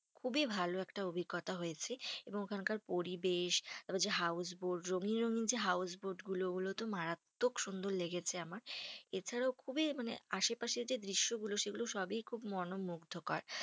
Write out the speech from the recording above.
খুবই ভালো একটা অভিজ্ঞতা হয়েছে। এবং ওখানকার পরিবেশ, তারপর যে houseboat রঙিন রঙিন যে houseboat গুলো ওগুলো তো মারাত্মক সুন্দর লেগেছে আমার। এছাড়াও খুবই মানে আশেপাশে যে দৃশ্যগুলো সেগুলো সবই খুব মনোমুগ্ধকর।